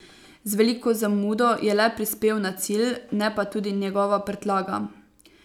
Z veliko zamudo je le prispel na cilj, ne pa tudi njegova prtljaga.